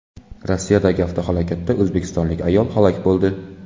Rossiyadagi avtohalokatda o‘zbekistonlik ayol halok bo‘ldi.